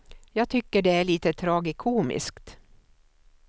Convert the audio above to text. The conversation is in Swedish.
Jag tycker det är lite tragikomiskt.